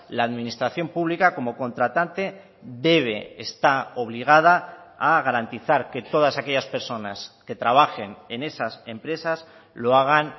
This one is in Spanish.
la administración pública como contratante debe está obligada a garantizar que todas aquellas personas que trabajen en esas empresas lo hagan